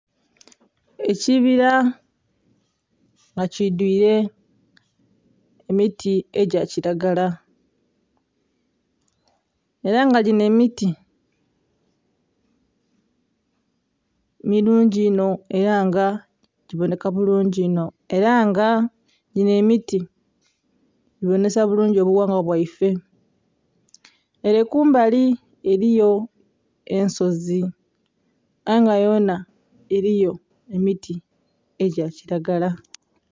Ekibira nga kidhwire emiti egya kilagala era nga ginho emiti mulungi inho era nga giibonheka bulungi inho era nga ginho emiti giyumisa nhi ghala ghaife. Ere kumbali eriyo ensozi aye nga yonha eriyo emiti egya kilagala.